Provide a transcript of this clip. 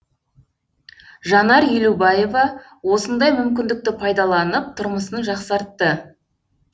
жанар елубаева осындай мүмкіндікті пайдаланып тұрмысын жақсартты